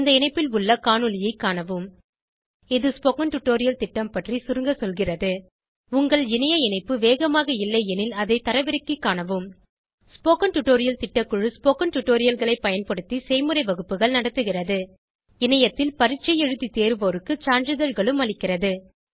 இந்த இணைப்பில் உள்ள காணொளியைக் காணவும் இது ஸ்போகன் டுடோரியல் திட்டம் பற்றி சுருங்க சொல்கிறது உங்கள் இணைய இணைப்பு வேகமாக இல்லையெனில் அதை தரவிறக்கிக் காணவும் ஸ்போகன் டுடோரியல் திட்டக்குழு ஸ்போகன் டுடோரியல்களைப் பயன்படுத்தி செய்முறை வகுப்புகள் நடத்துகிறது இணையத்தில் பரீட்சை எழுதி தேர்வோருக்கு சான்றிதழ்களும் அளிக்கிறது